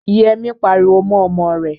Yẹ́mi pariwo mọ́ ọmọ rẹ̀.